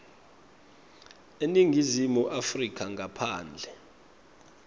eningizimu afrika ngaphandle